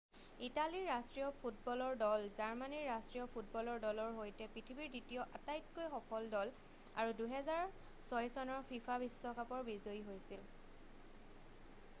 ইটালীৰ ৰাষ্ট্ৰীয় ফুটবলৰ দল জাৰ্মানীৰ ৰাষ্ট্ৰীয় ফুটবলৰ দলৰ সৈতে পৃথিৱীৰ দ্বিতীয় আটাইতকৈ সফল দল আৰু 2006 চনৰ ফিফা বিশ্বকাপৰ বিজয়ী হৈছিল